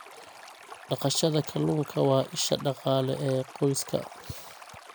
Dhaqashada kalluunka waa isha dhaqaale ee qoyska.